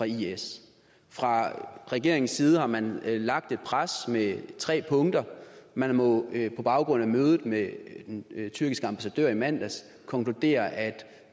is fra regeringens side har man lagt et pres med tre punkter og man må på baggrund af mødet med den tyrkiske ambassadør i mandags konkludere at